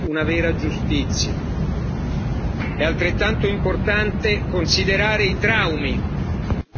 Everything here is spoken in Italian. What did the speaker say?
È altrettanto importante considerare i traumi che subiscono questi bambini.